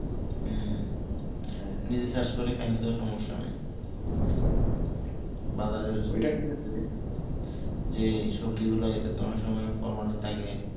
উহ নিজে চাষ করে খেলে তো সমস্যা নেই বাবরের যেই সবজি গুলা এটাতে অনেক সময় ফল থাকে